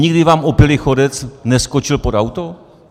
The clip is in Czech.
Nikdy vám opilý chodec neskočil pod auto?